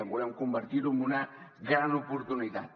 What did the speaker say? volem convertir ho en una gran oportunitat